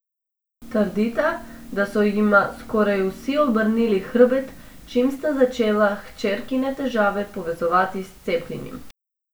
Trdita, da so jima skoraj vsi obrnili hrbet, čim sta začela hčerkine težave povezovati s cepljenjem.